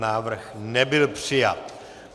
Návrh nebyl přijat.